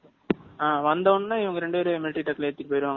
ஆஹ் வந்தவனே இவங்க ரெண்டு பேத்தையும் மிலிட்டரி ட்ரக்ல ஏத்திட்டு போய்யிருவங்களா?